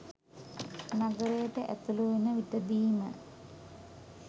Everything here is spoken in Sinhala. නගරයට ඇතුළු වන විටදීම